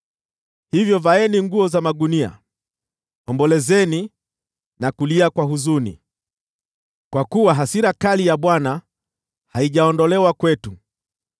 Hivyo vaeni nguo za magunia, ombolezeni na kulia kwa huzuni, kwa kuwa hasira kali ya Bwana haijaondolewa kwetu.